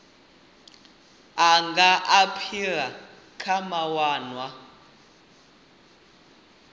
a nga aphila kha mawanwa